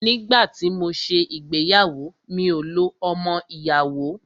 Nígbà tí mọ ṣé ìgbéyàwó, mi ò lo ọmọ ìyàwó.